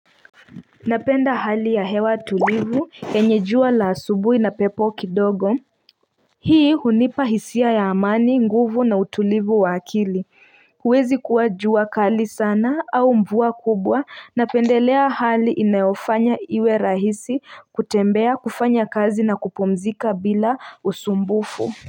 Napenda hali ya hewa tulivu yenye jua la asubui na pepo kidogo Hii hunipa hisia ya amani nguvu na utulivu wa akili huwezi kuwa jua kali sana au mvua kubwa napendelea hali inayofanya iwe rahisi kutembea kufanya kazi na kupumzika bila usumbufu.